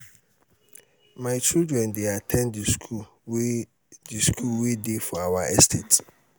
my children dey at ten d the school wey the school wey dey for our estate